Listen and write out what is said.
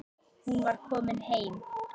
Hún var komin heim.